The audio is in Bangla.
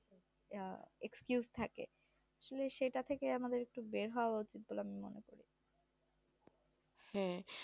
আহ Excuse থাকে সেটা থেকে আমাদের বের হওয়া উচিত